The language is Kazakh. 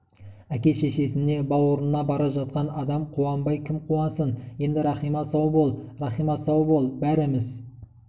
әке-шешесіне бауырына бара жатқан адам қуанбай кім қуансын енді рахима сау бол иахима сау бол бәріміз